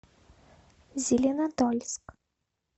зеленодольск